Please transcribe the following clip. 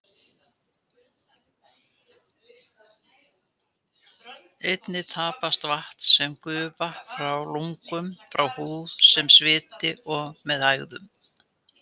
Einnig tapast vatn sem gufa frá lungum, frá húð sem sviti og með hægðum.